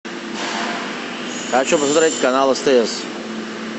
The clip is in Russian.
хочу посмотреть канал стс